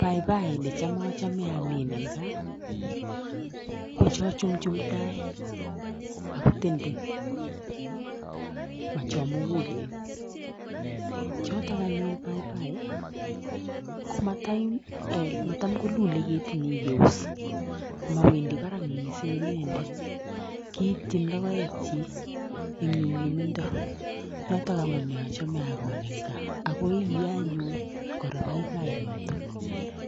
Paipai necham achome amin eng gaa, ko cho chumchum tai ako tenten ,ma cho mugulen. Chotok anyun paipai komatam kolulei ketinyi yeus. Mawendi barak mising inendet kiitchin logoekchi eng nyumnyumindo. Notok amune achame akol eng gaa. Ako iyei anyun paipai notok